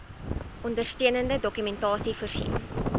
ondersteunende dokumentasie voorsien